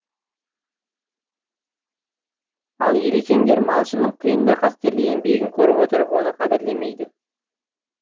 ал елекеңдер малшынын киын да қастерлі де енбегін көріп отырып оны қадірлемейді